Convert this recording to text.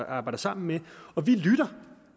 arbejder sammen med og vi lytter